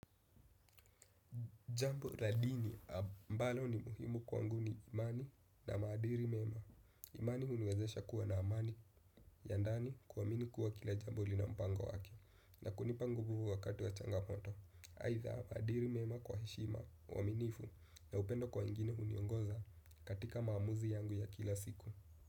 Jambo la dini ambalo ni muhimu kwangu ni imani na maadili mema. Imani huniwezesha kuwa na amani ya ndani kuamini kuwa kila jambo lina mpango wake. Na kunipa nguvu huu wakati wa changamoto. Aidha maadili mema kwa heshima uaminifu na upendo kwa wengine huniongoza katika maamuzi yangu ya kila siku.